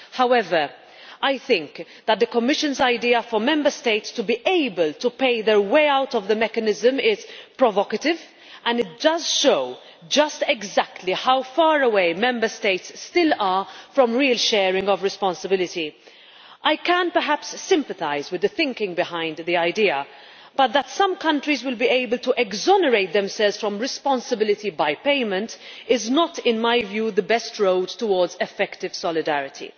However, I think that the Commission's idea for Member States to be able to pay their way out of the mechanism is provocative, and it does show just exactly how far away Member States still are from real sharing of responsibility. I can perhaps sympathise with the thinking behind the idea, but that some countries will be able to exonerate themselves from responsibility by payment is not, in my view, the best road towards effective solidarity.